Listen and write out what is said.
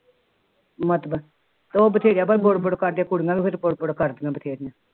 ਮਤਲਬ ਉਹ ਬਥੇਰਾ ਬੁੜ ਕਰਦੀਆ ਕੁੜੀਆਂ ਫਿਰ ਬੁੜ ਬੁੜ ਕਰਦੀਆਂ ਬਥੇਰੀਆਂ